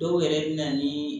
Dɔw yɛrɛ bɛ na ni